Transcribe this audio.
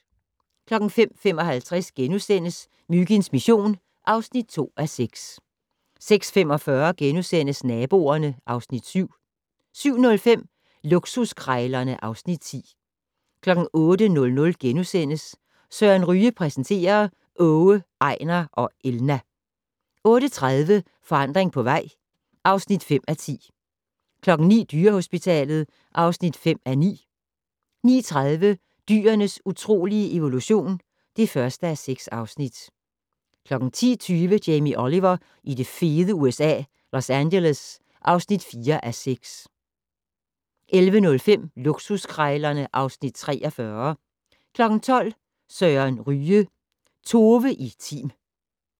05:55: Myginds mission (2:6)* 06:45: Naboerne (Afs. 7)* 07:05: Luksuskrejlerne (Afs. 10) 08:00: Søren Ryge præsenterer: Åge, Ejnar og Elna. * 08:30: Forandring på vej (5:10) 09:00: Dyrehospitalet (5:9) 09:30: Dyrenes utrolige evolution (1:6) 10:20: Jamie Oliver i det fede USA - Los Angeles (4:6) 11:05: Luksuskrejlerne (Afs. 43) 12:00: Søren Ryge: Tove i Tim